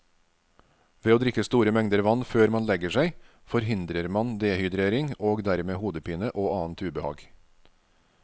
Ved å drikke store mengder vann før man legger seg forhindrer man dehydrering og dermed hodepine og annet ubehag.